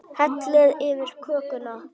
Hellið yfir kökuna.